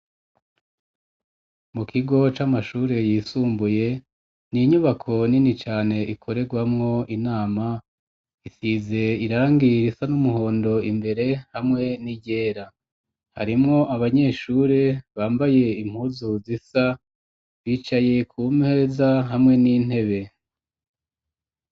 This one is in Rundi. Mu kigo c'amashure yisumbuye ni'inyubako nini cane ikorerwamwo inama isize irangira isa n'umuhondo imbere hamwe n'iryera harimwo abanyeshure bambaye impuzu zisa bicaye ku mpeza hamwe n'inte be.